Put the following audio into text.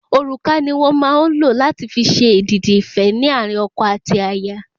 Òrùka ni wón màa n lo lati fi ṣe èdìdì ife ni àárín ọkọ àti aya